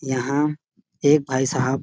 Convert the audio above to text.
यहाँ एक भाई साहब --